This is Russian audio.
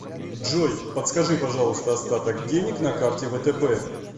джой подскажи пожалуйста остаток денег на карте втб